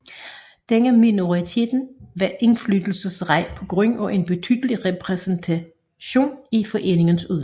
Denne minoritet var indflydelsesrig på grund af en betydelig repræsentation i foreningens udvalg